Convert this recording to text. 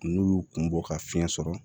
N'u y'u kun bɔ ka fiɲɛ sɔrɔ